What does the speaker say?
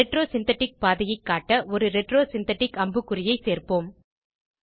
retro synthetic பாதையை காட்ட ஒரு retro சிந்தெடிக் அம்புக்குறியை சேர்ப்போம்